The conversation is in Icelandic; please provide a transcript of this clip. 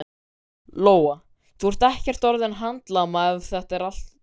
Lóa: Þú ert ekkert orðinn handlama eftir þetta allt saman?